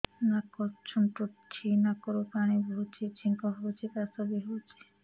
ନାକ ଚୁଣ୍ଟୁଚି ନାକରୁ ପାଣି ବହୁଛି ଛିଙ୍କ ହଉଚି ଖାସ ବି ହଉଚି